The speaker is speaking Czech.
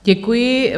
Děkuji.